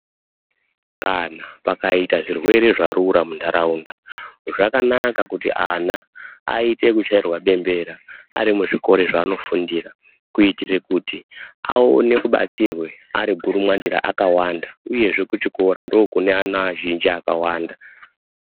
Kana pakaita zvirwere zvarura muntaraunda, zvakanaka kuti ana aite ekuchairwa bembera, ari muzvikora zvaanofundira kuitire kuti aone kubatsirwa ari gundumwandira akawanda uyezve kuchikora ndokune ana azhinji akawanda.